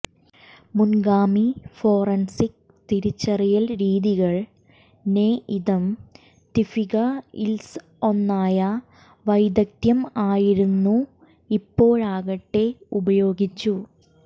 മുൻഗാമി forensic തിരിച്ചറിയൽ രീതികൾ നെഇദെംതിഫികത്സിഒന്നയ വൈദഗ്ധ്യം ആയിരുന്നു ഇപ്പോഴാകട്ടെ ഉപയോഗിച്ചു